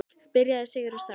Byrjaðu Sigrún, strax.